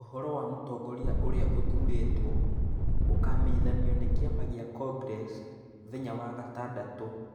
Ũhoro wa mũtongoria ũrĩa ũthuurĩtwo ũkamenyithanio nĩ Kĩama gĩa Congress mũthenya wa gatandatũ